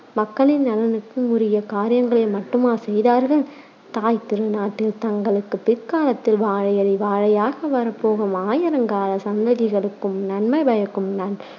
மக்களின் நலனுக்கும் உரிய காரியங்களை மட்டுமா செய்தார்கள் தாய்த் திருநாட்டில் தங்களுக்குப் பிற்காலத்தில் வாழையடி வாழையாக வரப்போகும் ஆயிரங்கால சந்ததிகளுக்கும் நன்மை பயக்கும்